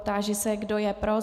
Táži se, kdo je pro.